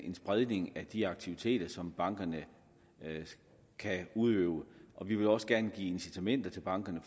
en spredning af de aktiviteter som bankerne kan udøve vi vil også gerne give incitamenter til bankerne